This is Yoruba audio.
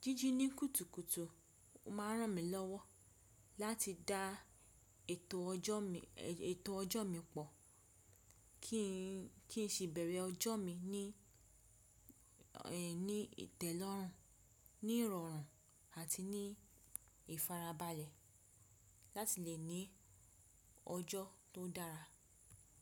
Jíjí ní kùtùkùtù máa ń ràn mí lọ́wọ́ láti dá ètò ọjọ́ mi pọ̀ kí n sì bẹ̀rẹ̀ ọjọ́ mi ní ìtẹ́lọ́rùn, ní ìrọ̀rùn àti ní ìfarabalẹ̀ láti lè ní ọjọ́ tó dára.